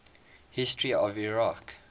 history of iraq